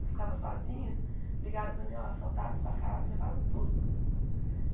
Eu ficava sozinha, ligaram para mim, ó, assaltaram a sua casa, levaram tudo.